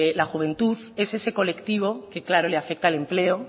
la juventud es ese colectivo que claro le afecta el empleo